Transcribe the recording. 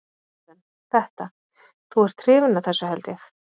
Karen: Þetta, þú ert hrifinn af þessu held ég?